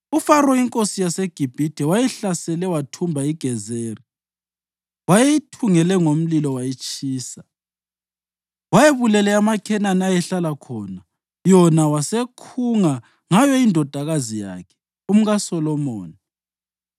(UFaro inkosi yaseGibhithe wayehlasele wathumba iGezeri. Wayeyithungele ngomlilo wayitshisa. Wayebulele amaKhenani ayehlala khona, yona wasekhunga ngayo indodakazi yakhe, umkaSolomoni.